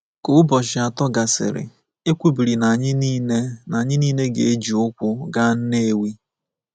“Ka ụbọchị atọ gasịrị, e kwubiri na anyị nile na anyị nile ga-eji ụkwụ gaa Nnewi.